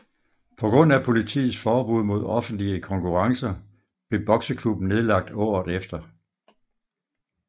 På grund af politiets forbud mod offentlige konkurrencer blev bokseklubben nedlagt året efter